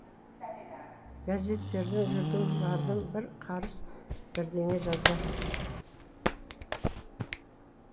газеттерің жүрдім бардым бір қарыс бірдеңе жазар